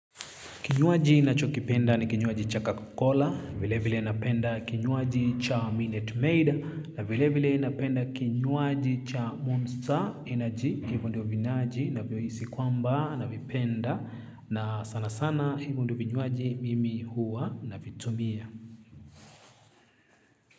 Kinywaji ninachokipenda ni kinywaji cha coca cola, vile vile napenda kinywaji cha Minute Maid, na vile vile napenda kinywaji cha Monster Energy, hivo ndio vinywaji, navyohisi kwamba, navipenda, na sana sana hivo ndio vinywaji mimi huwa navitumia.